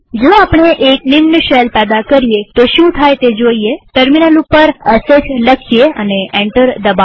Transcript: જો આપણે એક સબ શેલ પેદા કરીએતો શું થાય છે તે જોઈએટર્મિનલ ઉપર શ લખીએ એન્ટર દબાવીએ